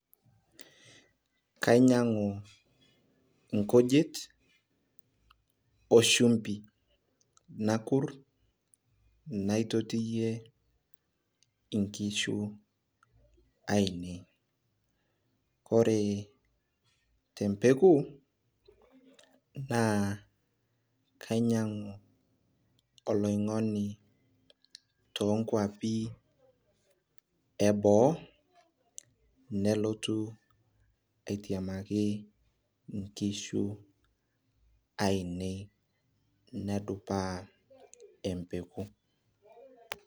kaainyiang'u inkujit 0 shumpi, nakur, aitotiyie inkishu aainei, ore te mpeku, naa kainyiang'u olong'oni too nkuapi eboo nelotu atiamaki inkishu ainei nebulaa empeku.